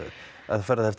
fer það eftir